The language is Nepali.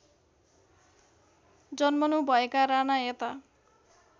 जन्मनुभएका राना यता